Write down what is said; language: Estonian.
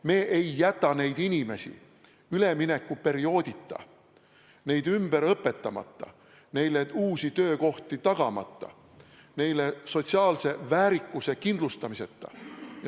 Me ei jäta neid inimesi üleminekuperioodita, neid ümber õpetamata, neile uusi töökohti tagamata, neile sotsiaalse väärikuse kindlustamiseta.